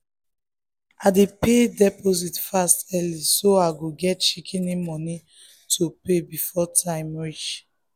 i dey pay deposit fast early so i go get shikini money to pay before time reach um